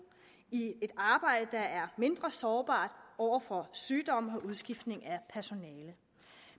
i et arbejde der er mindre sårbart over for sygdom og udskiftning af personale